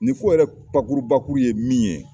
Nin ko yɛrɛ bakurubakuru ye min ye.